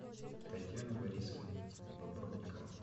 татьяна борисовна бобровникова